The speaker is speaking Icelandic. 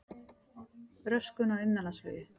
Röskun á innanlandsflugi